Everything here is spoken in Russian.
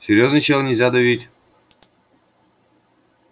серьёзный чел нельзя давить